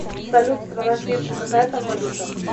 салют страна фиджи какая там валюта